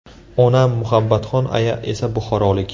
Onam Muhabbatxon aya esa buxorolik.